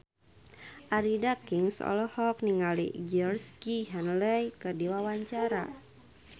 Arie Daginks olohok ningali Georgie Henley keur diwawancara